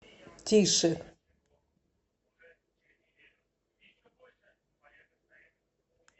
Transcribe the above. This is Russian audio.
тише